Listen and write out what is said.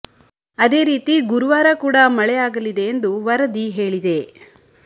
ಅದೇ ರೀತಿ ಗುರುವಾರ ಕೂಡ ಮಳೆ ಆಗಲಿದೆ ಎಂದು ವರದಿ ಹೇಳಿದೆ